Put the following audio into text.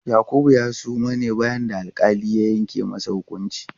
Yakubu ya suma ne bayan da alƙali ya yanke masa hukunci.